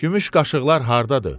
Gümüş qaşıqlar hardadır?